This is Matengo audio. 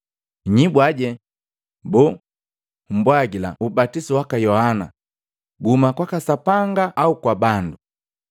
Nnyibwaje, boo, mbwagila ubatisu waka Yohana guhuma kwaka Sapanga au kwa bandu?”